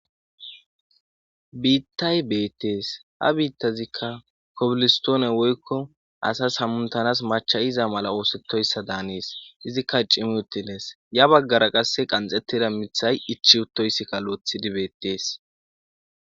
Biittay beettees ha biittazikka kobilistoone woykko asas hamuntanas machayiza mala oosettoyssa daanees izikka cimi utilees ya baggara qasse qanxettida mithay ichi uttoyssikka loethidi beettees.